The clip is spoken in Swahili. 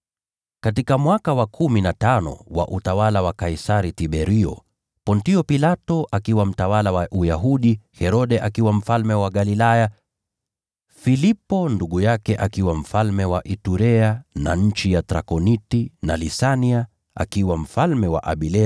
Katika mwaka wa kumi na tano wa utawala wa Kaisari Tiberio, Pontio Pilato akiwa mtawala wa Uyahudi, Herode akiwa mfalme wa Galilaya, Filipo ndugu yake akiwa mfalme wa Iturea na nchi ya Trakoniti, na Lisania akiwa mfalme wa Abilene,